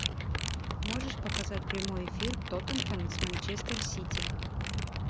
можешь показать прямой эфир тоттенхэм с манчестер сити